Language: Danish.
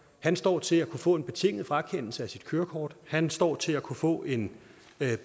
han står til at kunne få en betinget frakendelse af sit kørekort han står til at kunne få en